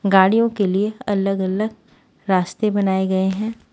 गाड़ियों के लिए अलग अलग रास्ते बनाए गए हैं।